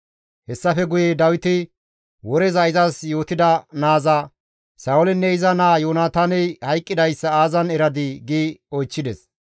Hessafe guye Dawiti woreza izas yootida naaza, «Sa7oolinne iza naa Yoonataaney hayqqidayssa aazan eradii?» gi oychchides.